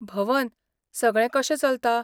भवन, सगळें कशें चलता?